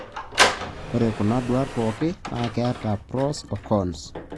ore kuna duat pooki na keeta pros o cons.